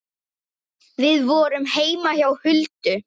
Við vorum heima hjá Huldu.